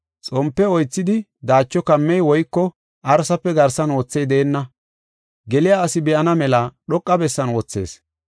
“Xompe oythidi, daacho kammey woyko arsafe garsan wothey deenna. Geliya asi be7ana mela dhoqa bessan wothees.